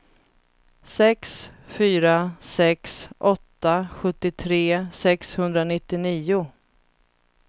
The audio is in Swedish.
sex fyra sex åtta sjuttiotre sexhundranittionio